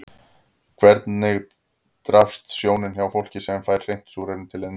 Hvers vegna daprast sjónin hjá fólki sem fær hreint súrefni til innöndunar?